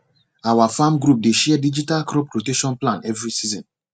our farm group dey share digital crop rotation plan every season